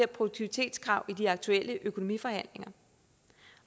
produktivitetskrav i de aktuelle økonomiforhandlinger